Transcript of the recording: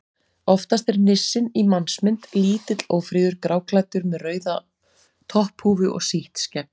Oftast er nissinn í mannsmynd: Lítill, ófríður, gráklæddur með rauða topphúfu og sítt skegg.